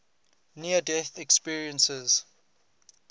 near death experiences